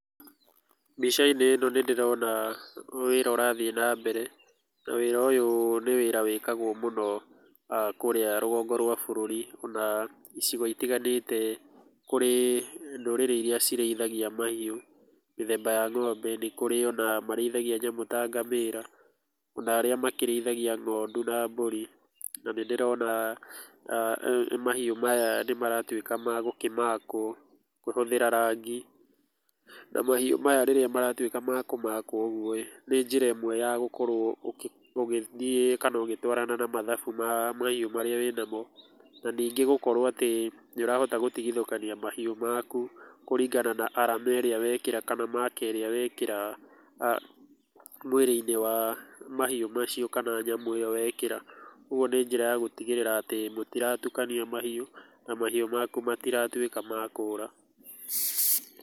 Mbica-inĩ ĩno nĩndĩrona wĩra ũrathiĩ nambere, na wĩra ũyũ nĩ wĩra ũyũ nĩ wĩra wĩkagũo mũno kũrĩa rũgongo rwa bũrũri na icigo itiganĩte kũrĩ ndũrĩrĩ iria cirĩithagia mahiũ, mĩthemba ya ng'ombe, nĩ kũrĩ ona marĩithagia nyamũ ta ngamĩra, ona arĩa makĩrĩithagia ng'ondu na mbũri. Na nĩndĩrona mahiũ maya nĩmaratuĩka ma gũkĩmakwo, kũhũthĩra rangi, na mahiũ maya rĩrĩa maratuĩka ma kũmakwo ũguo-ĩ, nĩ njĩra ĩmwe ya gũkorwo ũgĩthiĩ kana ũgĩtwarana na mathabu maa mahiũ marĩa wĩnamo, na ningĩ gũkorwo atĩ nĩũrahota gũtigithũkania mahiũ maku kũringana na arama ĩrĩa wekĩra kana maka ĩrĩa wekĩra mwĩrĩ-inĩ wa mahiũ macio, kana nyamũ ĩyo wekĩra, ũguo nĩ njĩra ya gũtigĩrĩra atĩ mũtiratukania mahiũ na mahiũ maku matiratuĩka ma kũra.